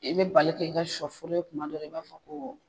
I bɛ bali k'i ka sɔ foro ye tumadɔ la i b'a fɔ ko